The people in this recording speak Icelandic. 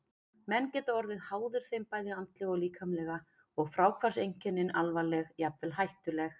Menn geta orðið háðir þeim bæði andlega og líkamlega og fráhvarfseinkennin alvarleg, jafnvel hættuleg.